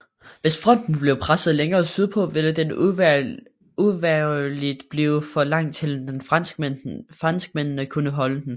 Hvis fronten blev presset længere sydpå ville den uvægerligt blive for lang til at franskmændene kunne holde den